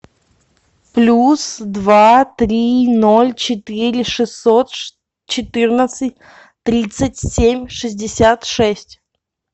плюс два три ноль четыре шестьсот четырнадцать тридцать семь шестьдесят шесть